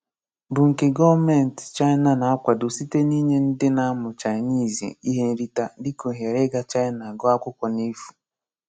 Bụ́ nke Gọ̀menti Chaínà na-akwàdò sịté n’ínye ndị na-amụ́ Chaínìizì ihe nrí̄té dị́ka òhèrè ígá Chaínà gụọ̀ akwụkwọ n’efu.